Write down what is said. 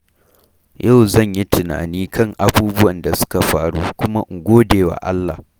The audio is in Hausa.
Yau zan yi tunani kan abubuwan da suka faru kuma in gode wa Allah.